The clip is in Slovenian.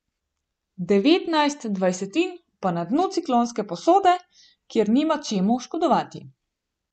Devetnajst dvajsetin pa na dnu ciklonske posode, kjer nima čemu škodovati.